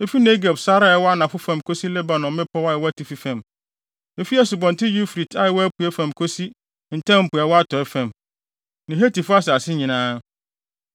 Efi Negeb sare a ɛwɔ anafo fam kosi Lebanon mmepɔw a ɛwɔ atifi fam, efi Asubɔnten Eufrate a ɛwɔ apuei fam kosi Ntam Po a ɛwɔ atɔe fam, ne Hetifo asase nyinaa.